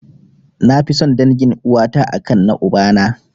Nafi son dangin uwata a kan na ubana.